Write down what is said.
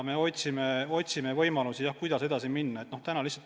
Ent me otsime võimalusi, kuidas edasi minna.